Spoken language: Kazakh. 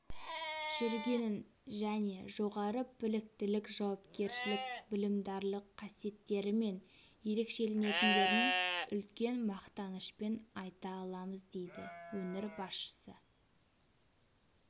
жүргенін және жоғары біліктілік жауапкершілік білімдарлық қасиеттерімен ерекшеленетіндерін үлкен мақтанышпен айта аламыз дейді өңір басшысы